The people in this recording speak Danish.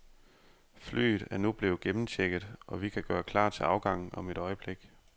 Flyet er nu blevet gennemchecket, og vi kan gøre klar til afgang om et øjeblik.